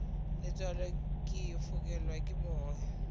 letswalo ke fokelwa ke moya